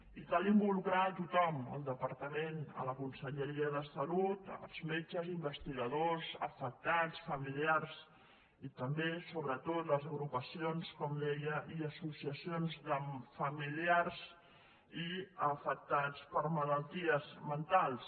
i cal involucrar hi a tothom el departament la conselleria de salut els metges investigadors afectats familiars i també sobretot les agrupacions com deia i associacions de familiars i afectats per malalties mentals